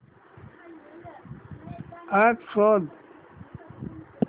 app शोध